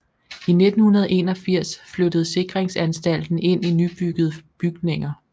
I 1981 flyttede Sikringsanstalten ind i nybyggede bygninger